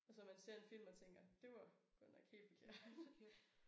Og så man ser en film og tænker det var godt nok helt forkert